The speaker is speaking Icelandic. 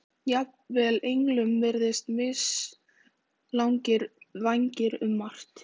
Jafnvel englum virðast mislagðir vængir um margt